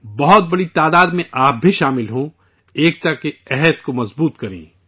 بہت بڑی تعداد میں آپ بھی جڑیں، اتحاد کے عزم کو مضبوط کریں